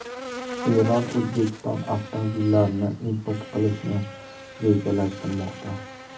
Eron O‘zbekiston avtomobillarini import qilishni rejalashtirmoqda.